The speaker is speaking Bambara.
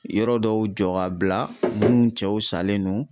Yɔrɔ dɔw jɔ ka bila munnu cɛw salen don.